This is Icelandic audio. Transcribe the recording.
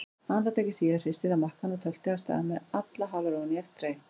Andartaki síðar hristi það makkann og tölti af stað með alla halarófuna í eftirdragi.